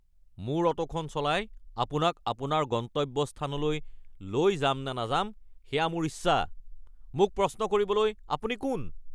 মোৰ অ’টোখন চলাই আপোনাক আপোনাৰ গন্তব্যস্থানলৈ লৈ যামনে নাযাম সেয়া মোৰ ইচ্ছা। মোক প্ৰশ্ন কৰিবলৈ আপুনি কোন? (অ’টো চালক)